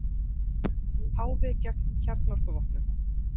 Páfi gegn kjarnorkuvopnum